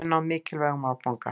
Við höfum náð mikilvægum áfanga